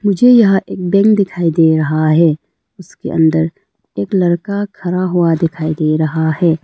मुझे यहां एक बैंक दिखाई दे रहा है उसके अंदर एक लड़का खड़ा हुआ दिखाई दे रहा है।